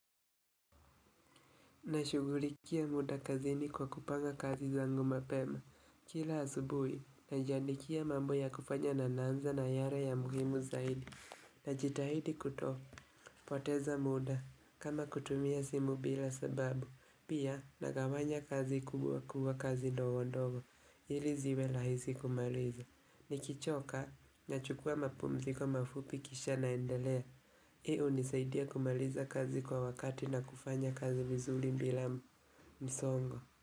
Nashugulikia muda kazini kwa kupanga kazi zangu mapema Kila asubui, najandikia mambo ya kufanya na naanza na yale ya muhimu zaidi Najitahidi kutopoteza muda, kama kutumia simu bila sababu Pia nagawanya kazi kubwa kubwa kazi dogo dogo, hili ziwe rahisi kumaliza Nikichoka, nachukua mapumziko mafupi kisha naendelea hilo hunisaidia kumaliza kazi kwa wakati na kufanya kazi vizuli bila msongo.